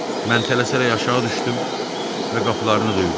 Mən tələsərək aşağı düşdüm və qapılarını döydüm.